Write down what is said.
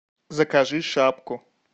закажи шапку